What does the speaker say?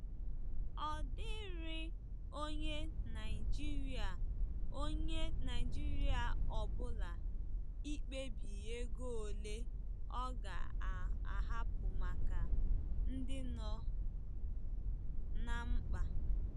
Ọ dịịrị onye Naijiria ọ onye Naijiria ọ bụla ikpebi ego ole ọ ga-ahapụ maka ndị nọ ná mkpa.